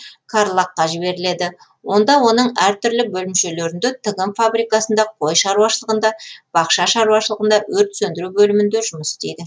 карлаг қа жіберіледі онда оның әр түрлі бөлімшелерінде тігін фабрикасында қой шаруашылығында бақша шаруашылығында өрт сөндіру бөлімінде жұмыс істейді